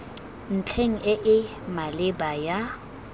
ntlheng e e maleba ya